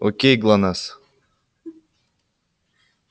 окей глонассс